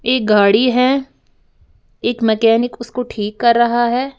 एक गाड़ी है एक मैकेनिक उसको ठीक कर रहा है।